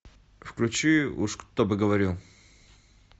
включи уж кто бы говорил